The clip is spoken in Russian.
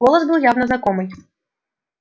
голос был явно знакомый